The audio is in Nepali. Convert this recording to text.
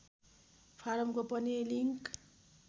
फारमको पनि लिङ्क